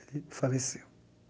Ele faleceu.